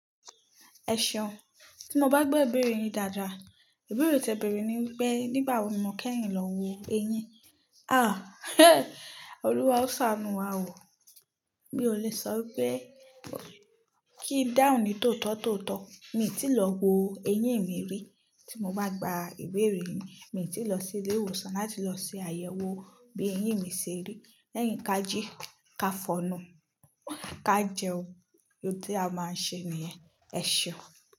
Ẹ ṣeun. Tí mo bá gbo ìbéèrè yìn dáadáa, ìbéèrè tí a béèrè ni pé nígbà wo ni mo kẹ́yin lọ wo eyín? Ah, Olúwa ó ṣàánú wa o. Mi ò le sọ pé kí i dáhùn ní tótọ́tọ́tọ̀. Èmi ti lọ wo eyín mi rí. Tí mo bá gba ìbéèrè yìn, èmi oti lọ sí ilé ìwòsàn láti lọ ṣe àyẹ̀wò bí eyín mi se rí. Lẹ́yìn ká jí, ká fọnú, ká jẹun. Ó ti a máa ṣe nìyẹn. Ẹ ṣeun.